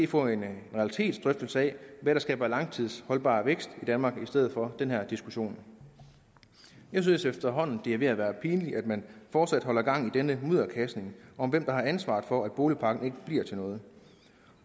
få en realitetsdrøftelse af hvad der skaber langtidsholdbar vækst i danmark i stedet for den her diskussion jeg synes efterhånden det er ved at være pinligt at man fortsat holder gang i denne mudderkastning om hvem der har ansvaret for at boligpakken ikke bliver til noget